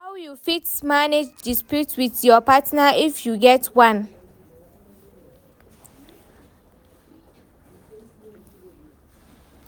How you fit manage dispute with your partner if you get one?